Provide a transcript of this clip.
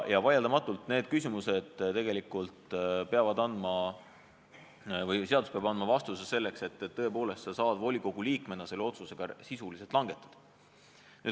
Vaieldamatult peab seadus andma vastuse, et sa tõepoolest saaksid volikogu liikmena selle otsuse ka sisuliselt langetada.